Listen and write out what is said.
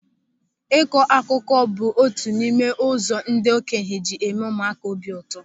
Ịkọ akụkọ bụ otu n'ime ụzọ ndị okenye ji eme ụmụaka obi ụtọ.